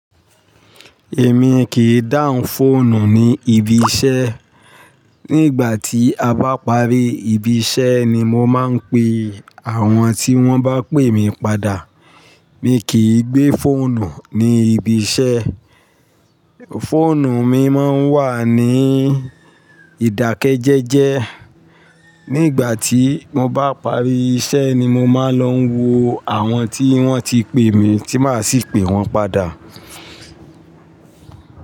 Èmi kì í dahun foonu ní ibi iṣẹ́. Nígbà tí a bá parí, ibi iṣẹ́ ni mo máa ń pe àwọn tí wọ́n bá pè mí padà. Mi kì í gbé phone ní ibi iṣẹ́. Phone mi máa ń wà ní ìdákẹ́jẹ́jẹ́. Nígbà tí mo bá parí iṣẹ́ ni mo máa ń lọ nwo àwọn tí wọ́n ti pè mí tí máa sì pè wọ́n padà.